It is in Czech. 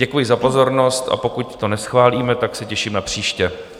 Děkuji za pozornost, a pokud to neschválíme, tak se těším na příště.